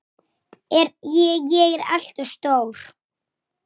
Ég segi: Góða nótt!